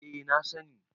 eh na sani